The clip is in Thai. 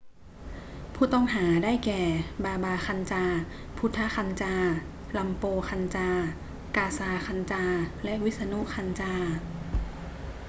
ผู้ต้องหา ได้แก่ บาบา คันจาร์ พุทธะ คันจาร์ รัมโปร คันจาร์ กาซา คันจาร์ และวิษณุ คันจาร์